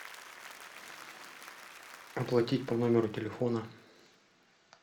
оплатить по номеру телефона